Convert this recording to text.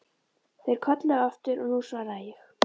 Þeir kölluðu aftur og nú svaraði ég.